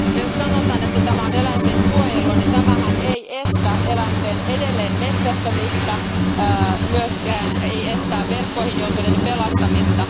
Jos sanotaan, että tämä on eläinten suojelua, niin tämähän ei estä eläinten metsästämistä, eikä myöskään estä verkkoihin joutuneiden pelastamista.